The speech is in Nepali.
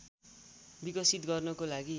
विकसित गर्नको लागि